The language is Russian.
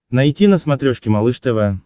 найти на смотрешке малыш тв